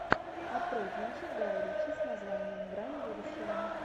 открой кинчик гая ричи с названием грань будущего